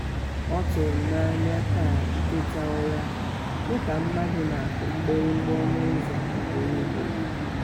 ọtụru m n'anya taa iteta ụra nụ ka mmadu na aku mgbirigba ọnụ ụzọ ugboro ugboro